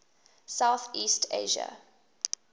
south east asia